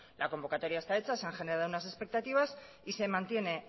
la convocatoria está hecha se han generado unas expectativas y se mantiene